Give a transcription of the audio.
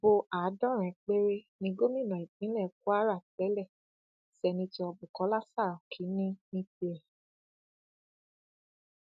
ibo àádọrin péré ni gomina ìpínlẹ kwara tẹlẹ sènẹto bukola saraki ní ní tirẹ